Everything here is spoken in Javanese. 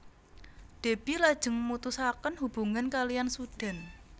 Déby lajeng mutusaken hubungan kaliyan Sudan